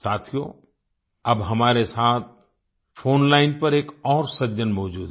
साथियो अब हमारे साथ फोन लाइन पर एक और सज्जन मौजूद हैं